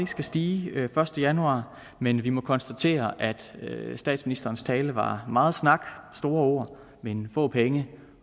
skal stige den første januar men vi må konstatere at statsministerens tale var meget snak og store ord men få penge